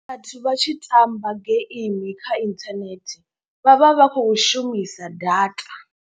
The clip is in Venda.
Vhathu vha tshi tamba geimi kha inthanethe vha vha vha khou shumisa data.